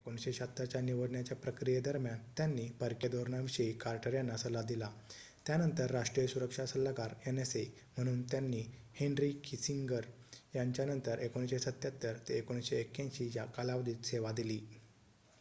१९७६ च्या निवडण्याच्या प्रक्रियेदरम्यान त्यांनी परकीय धोरणाविषयी कार्टर यांना सल्ला दिला त्यानंतर राष्ट्रीय सुरक्षा सल्लागार nsa म्हणून त्यांनी हेन्री किसिंगर यांच्यानंतर १९७७ ते १९८१ या कालावधीत सेवा दिली